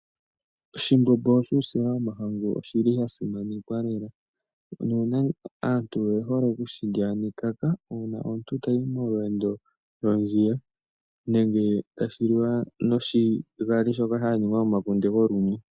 Oshimbombo shuusila womahangu oshili sha simanekwa lela. Aantu oye hole okushilya nekaka, uuna omuntu ta yi molweendo lwondjila nenge ha shi liwa noshigali shoka sha ningwa momakunde ga simanekwa lela. Aantu oye hole okushilya nekaka uuna omuntu ta yi mondjila, nenge ta shi li wa nomakuna gokalunya.